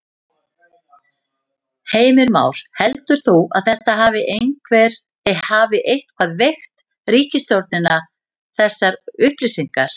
Heimir Már: Heldur þú að þetta hafi eitthvað veikt ríkisstjórnina þessar upplýsingar?